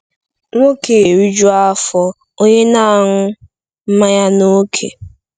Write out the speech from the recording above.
“Nwoke eriju afọ, onye na-aṅụ mmanya n’ókè.”